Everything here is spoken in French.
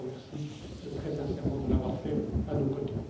Je vous remercie très sincèrement de l'avoir fait à nos côtés.